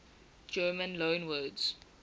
german loanwords